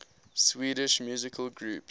swedish musical groups